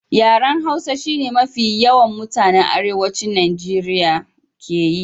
Yaran Hausa shi ne mafi yawan mutanan Arewacin Najeriya ke yi.